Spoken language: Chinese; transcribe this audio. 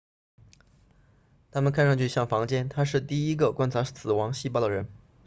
它们看上去像房间他是第一个观察死亡细胞的人